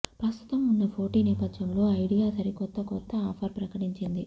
ప్రస్తుతం ఉన్న పోటీ నేపథ్యంలో ఐడియా సరికొత్త కొత్త ఆఫర్ ప్రకటించింది